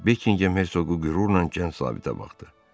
Bekinhem Hersoqu qürurla Kənt zabitə baxdı.